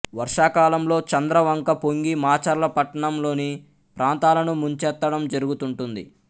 వర్షాకాలంలో చంద్రవంక పొంగి మాచర్ల పట్టణంలోని ప్రాంతాలను ముంచెత్తడం జరుగుతూంటుంది